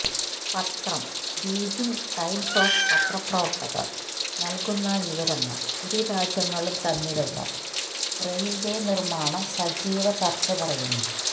പത്രം Beijing Times of പത്രപ്രവർത്തകർ നൽകുന്ന വിവരങ്ങൾ ഇരു രാജ്യങ്ങളും തമ്മിലുള്ള റെയിൽവേ നിർമ്മാണം സജീവ ചർച്ച പറയുന്നു